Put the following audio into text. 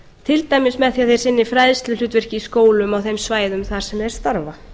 til dæmis með því að þeir sinni fræðsluhlutverki í skólum á þeim svæðum sem þeir starfa